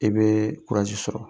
I bɛ sɔrɔ,